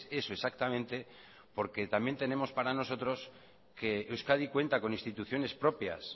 eso exactamente porque también tenemos para nosotros que euskadi cuenta con instituciones propias